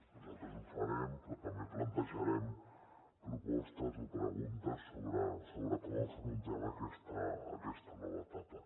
nosaltres ho farem però també plantejarem propostes o preguntes sobre com afrontem aquesta nova etapa